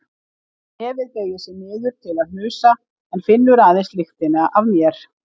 Nefið beygir sig niður til að hnusa en finnur aðeins lyktina af mér.